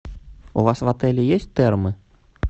у вас в отеле есть термы